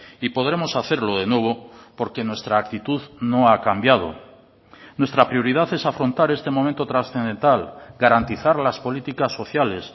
y podremos hacerlo de nuevo porque nuestra actitud no ha cambiado nuestra prioridad es afrontar este momento trascendental garantizar las políticas sociales